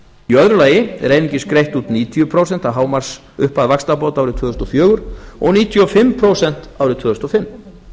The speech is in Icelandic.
í öðru lagi voru einungis greidd út níutíu prósent af hámarksupphæð vaxtabóta árið tvö þúsund og fjögur og níutíu og fimm prósent árið tvö þúsund og fimm